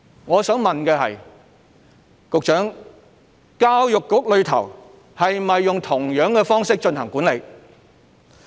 我想問局長：教育局是否用相同的方式進行管理？